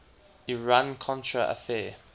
iran contra affair